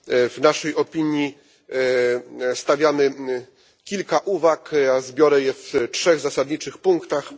W naszej opinii przedstawiamy kilka uwag ja zbiorę je w trzech zasadniczych punktach.